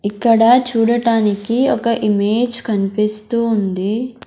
ఇక్కడ చూడటానికి ఒక ఇమేజ్ కన్పిస్తూ ఉంది.